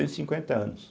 e cinquenta anos.